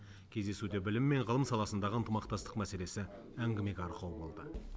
кездесуде білім мен ғылым саласындағы ынтымақтастық мәселесі әңгімеге арқау болды